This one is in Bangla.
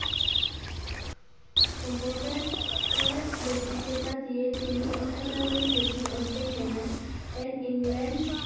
সম্পর্কে~এ বক্তিত্বতা দিয়ে তিনি অসাধারণ খাঁটি অর্জন করেন এন ইংল্যান্ড